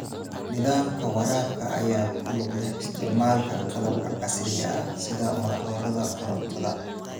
Nidaamka waraabka ayaa ku lug leh isticmaalka qalabka casriga ah sida matoorada korontada.